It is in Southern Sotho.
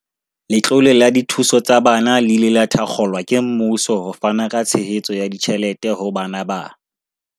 Letlole la dithuso tsa bana le ile la thakgolwa ke mmuso ho fana ka tshehetso ya ditjhelete ho bana ba